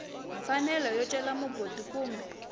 mfanelo yo cela mugodi kumbe